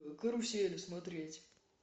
карусель смотреть